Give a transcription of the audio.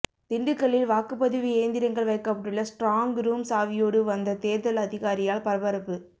திண்டுக்கல்லில் வாக்குப்பதிவு இயந்திரங்கள் வைக்கப்பட்டுள்ள ஸ்டிராங்க் ரூம் சாவியோடு வந்த தேர்தல் அதிகாரியால் பரபரப்பு